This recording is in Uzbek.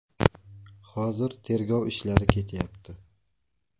Hozir tergov ishlari ketyapti.